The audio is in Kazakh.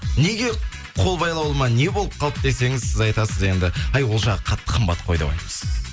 неге қол байлаулы ма не болып қалды десеңіз сіз айтасыз енді әй ол жағы қатты қымбат қой деп айтыпсыз